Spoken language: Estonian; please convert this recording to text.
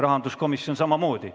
Rahanduskomisjoniga oli samamoodi.